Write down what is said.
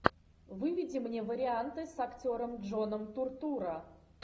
выведи мне варианты с актером джоном туртурро